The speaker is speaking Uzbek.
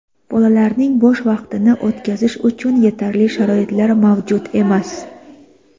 Bolalarning bo‘sh vaqtini o‘tkazish uchun yetarli sharoitlar mavjud emas.